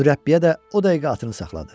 Mürəbbiyə də o dəqiqə atını saxladı.